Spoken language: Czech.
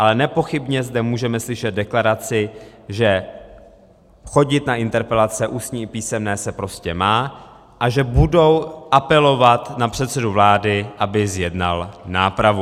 Ale nepochybně zde můžeme slyšet deklaraci, že chodit na interpelace ústní i písemné se prostě má a že budou apelovat na předsedu vlády, aby zjednal nápravu.